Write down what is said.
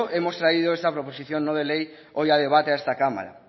hemos traído esta proposición no de ley hoy a debate a esta cámara